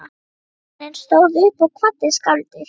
Baróninn stóð upp og kvaddi skáldið.